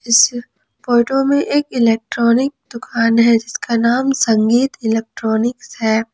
इस फोटो में एक इलेक्ट्रॉनिक दुकान है जिसका नाम संगीत इलेक्ट्रॉनिक है।